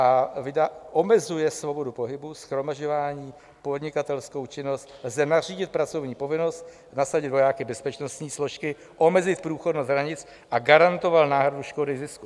A omezuje svobodu pohybu, shromažďování, podnikatelskou činnost, lze nařídit pracovní povinnost, nasadit vojáky, bezpečnostní složky, omezit průchodnost hranic a garantoval náhradu škody, zisku.